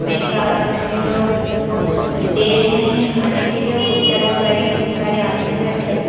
मे एक आदमी लोग सब को दे रहे हैं खाने के लिए कुर्सियाँ बहोत सारी हैं बहोत सारे आदमी बैठे हुए हैं।